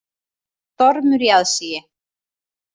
Stormur í aðsigi